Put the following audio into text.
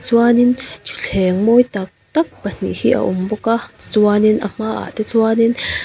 chuanin thuthleng mawi takt ak pahnih hi a awm bawk a tichuanin a hmaah te chuanin.